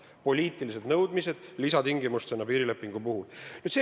Need on poliitilised nõudmised lisatingimustena piirilepingu sõlmimiseks.